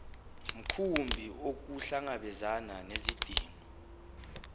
mkhumbi ukuhlangabezana nezidingo